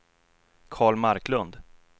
Carl Marklund